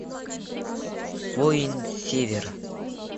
воин севера